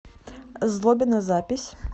злобино запись